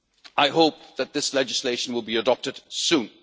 I hope that this legislation will be adopted soon.